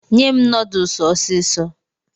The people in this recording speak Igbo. Nye m nodusi ọsịsọ